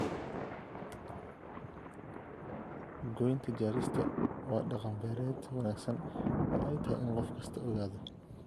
Goynta jarista waa dhaqan-beereed wanaagsan oo ay tahay in qof kastaa ogaado.